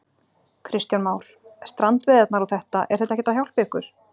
Kristján Már: Strandveiðarnar og þetta, er þetta ekkert að hjálpa ykkur?